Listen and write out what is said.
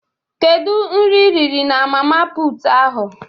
Kedu nri iriri na mama puutu ahụ?